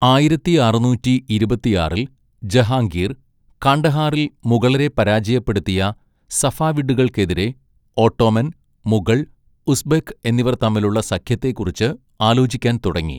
ആയിരത്തിഅറുന്നൂറ്റിഇരുപത്തിആറിൽ ജഹാംഗീർ, കാണ്ഡഹാറിൽ മുഗളരെ പരാജയപ്പെടുത്തിയ സഫാവിഡുകൾക്കെതിരെ ഓട്ടോമൻ, മുഗൾ, ഉസ്ബെക്ക് എന്നിവർ തമ്മിലുള്ള സഖ്യത്തെക്കുറിച്ച് ആലോചിക്കാൻ തുടങ്ങി.